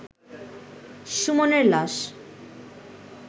সুমনের লাশ